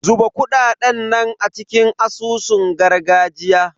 Zuba kuɗaɗen nan a cikin asusun gargajiya.